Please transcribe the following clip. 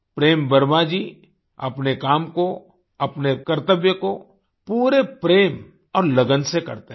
प्रेम वर्मा जी अपने काम को अपने कर्तव्य को पूरे प्रेम और लगन से करते हैं